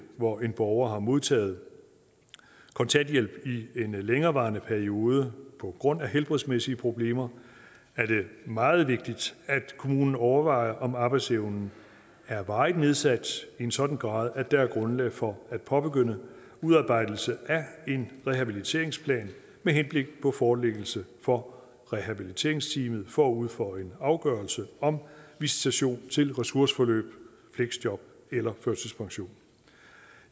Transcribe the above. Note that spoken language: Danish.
hvor en borger har modtaget kontanthjælp i en længerevarende periode på grund af helbredsmæssige problemer er det meget vigtigt at kommunen overvejer om arbejdsevnen er varigt nedsat i en sådan grad at der er grundlag for at påbegynde udarbejdelsen af en rehabiliteringsplan med henblik på forelæggelse for rehabiliteringsteamet forud for en afgørelse om visitation til ressourceforløb fleksjob eller førtidspension